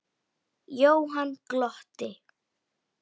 Jóhann glotti.